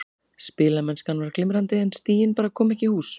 Spilamennskan var glimrandi en stigin bara komu ekki í hús.